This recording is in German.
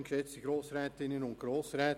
Das Wort hat Regierungsrat Käser.